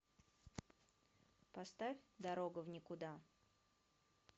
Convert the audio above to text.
поставь дорога в никуда